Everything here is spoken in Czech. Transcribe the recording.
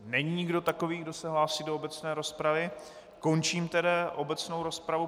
Není nikdo takový, kdo se hlásí do obecné rozpravy, končím tedy obecnou rozpravu.